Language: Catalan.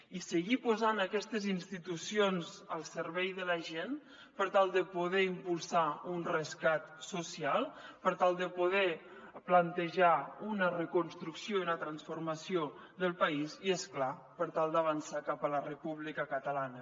i seguir posant aquestes institucions al servei de la gent per tal de poder impulsar un rescat social per tal de poder plantejar una reconstrucció i una transformació del país i és clar per tal d’avançar cap a la república catalana